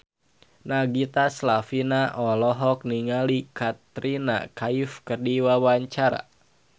Nagita Slavina olohok ningali Katrina Kaif keur diwawancara